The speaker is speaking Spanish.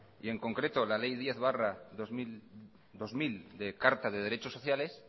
y en concreto la ley diez barra dos mil de carta de derechos sociales